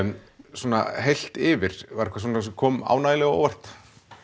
svona heilt yfir var eitthvað sem kom ánægjulega á óvart